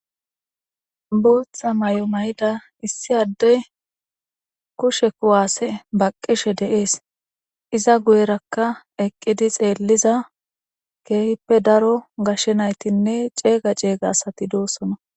booththa may7o mayida issi addey kushe kuwaasse baqqishe deees iza guyerakka eqqidi xeelliza keehippe daro gashshe naytinne ceeyga ceeyga asati doossona